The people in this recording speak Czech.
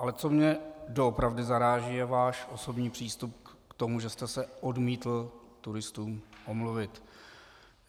Ale co mě doopravdy zaráží, je váš osobní přístup k tomu, že jste se odmítl turistům omluvit.